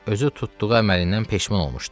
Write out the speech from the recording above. Özü tutduğu əməlindən peşman olmuşdu.